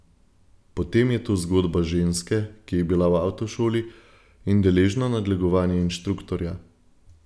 Potem je tu zgodba ženske, ki je bila v avtošoli in deležna nadlegovanja inštruktorja.